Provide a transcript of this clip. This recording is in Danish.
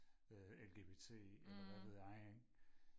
øh LGBT eller hvad ved jeg ikke